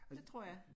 Det tror jeg